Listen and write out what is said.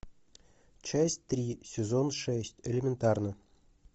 часть три сезон шесть элементарно